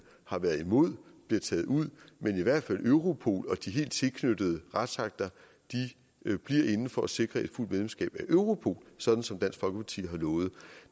har været imod bliver taget ud men at i hvert fald europol og de helt tilknyttede retsakter bliver inde for at sikre et fuldt medlemskab af europol sådan som dansk folkeparti har lovet